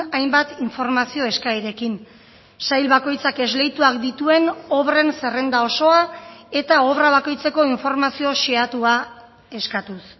hainbat informazio eskaerekin sail bakoitzak esleituak dituen obren zerrenda osoa eta obra bakoitzeko informazio xehatua eskatuz